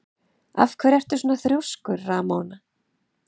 Af hverju ertu svona þrjóskur, Ramóna?